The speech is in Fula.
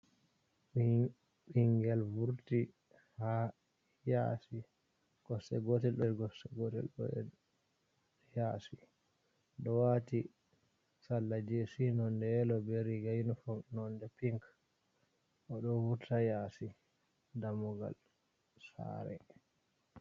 Ɓingel vurti ha yasi kosɗe gotel ɗo nder gosɗe Gotel ɗo yashi, o wati salla jesi nonde yelo be riga non pinc oɗo vurta yasi damugal sare.